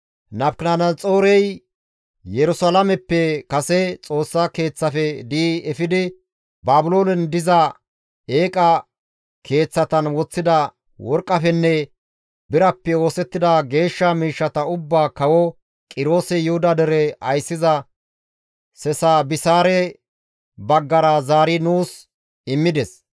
Nabukadanaxoorey Yerusalaameppe kase Xoossa Keeththafe di7i efidi Baabiloonen diza eeqa keeththatan woththida worqqafenne birappe oosettida geeshsha miishshata ubbaa kawo Qiroosi Yuhuda dere ayssiza Sesabisaare baggara zaari nuus immides.